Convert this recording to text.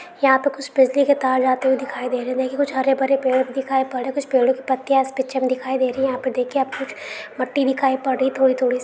यहाँ पे कुछ बिजली के तार जाते हुए दिखाई दे रहे है। यही कुछ हरे भरे पेड़ दिखाई पड़ रहे है। कुछ पेड़ों की पत्तियां इस पिक्चर में दिखाई दे रही है। यहाँ पर देखिए आपको कुछ मट्टी दिखाई पड़ रही है थोड़ी-थोड़ी सी।